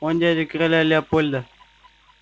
он дядя короля леопольда